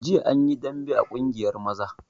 Jiya an yi dambe a ƙungiyar maza